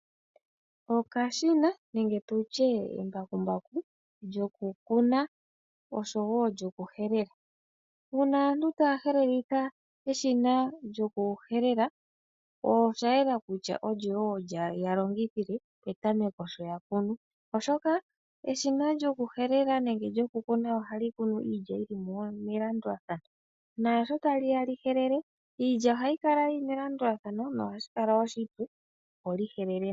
Okashina nenge tutye embakumbaku lyokukuna oshowo lyoku helela uuna aantu taya helelitha eshina lyoku helela oshayela kutya olyo woo yalongithile petameko sho ya kunu, oshoka eshina lyoku helela nenge lyoku kuna ohali kunu iilya yili melandulathano naashi taliya li helela ohali kalitha iinima yili melandulathano ohashi kala oshipu opo li helele.